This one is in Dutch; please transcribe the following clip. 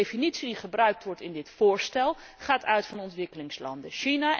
Want de definitie die gebruikt wordt in dit voorstel, gaat uit van ontwikkelingslanden.